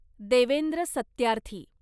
Devendra Satyarthi